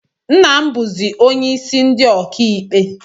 Nna m bụzị onyeisi ndi ọkaikpe